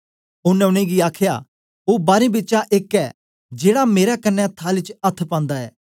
ओनें उनेंगी आखया ओ बारें बिचा एक ऐ जेड़ा मेरे कन्ने थाली च अथ्थ पांदा ऐ